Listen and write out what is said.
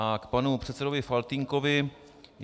A k panu předsedovi Faltýnkovi.